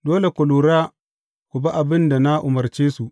Dole ku lura ku bi abin da na umarce su.